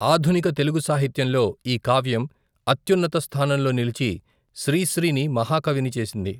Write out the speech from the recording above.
ఆధునిక తెలుగు సాహిత్యం లో ఈ కావ్యం అత్యున్నత స్థానంలో నిలిచి శ్రీశ్రీ ని మహాకవి ని చేసింది.